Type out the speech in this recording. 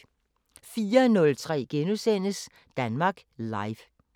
04:03: Danmark Live *